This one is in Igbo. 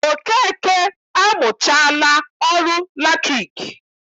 Okeke amụchaala ọrụ latriki